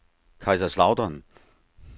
Kaiserslautern